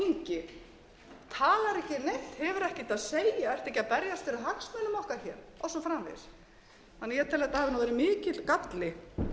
segja ertu ekki að berjast fyrir hagsmunum okkar og svo framvegis ég tel að þetta hafi verið mikill galli